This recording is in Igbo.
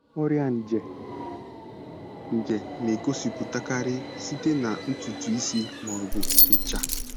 Ọrịa nje nje na-egosipụtakarị site na ntutu isi ma ọ bụ ncha.